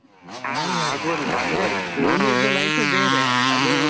ಹಾ ಆಗ್ಬೋದು ಅಂತ ಅಂದ್ರೆ school ದ್ದು life ಬೇರೆ ಅದು.